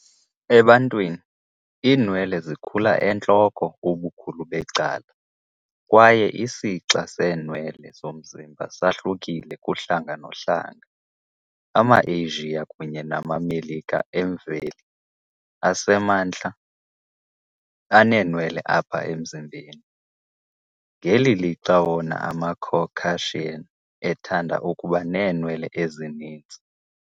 Ebantwini, iinwele zikhula entloko ubukhulu becala, kwaye isixa seenwele zomzimba sahlukile kuhlanga nohlanga. AmaAsia kunye namaMelika emveli asemantla aneenwelana apha emzimbeni, ngeli lixa wona amaCaucasia ethanda ukuba neenwele ezininzi.